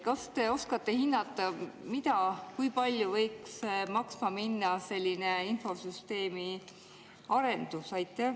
Kas te oskate hinnata, kui palju võiks maksma minna selline infosüsteemi arendus?